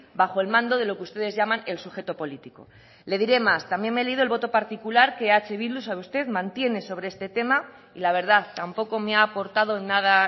bajo el mando de lo que ustedes llaman el sujeto político le diré más también me he leído el voto particular que eh bildu sabe usted mantiene sobre este tema y la verdad tampoco me ha aportado nada